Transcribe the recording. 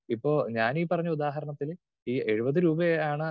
speaker 2 ഇപ്പോൾ ഞാനീ പറഞ്ഞ ഉദാഹരണത്തിൽ ഈ എഴുപത് രൂപയാണ്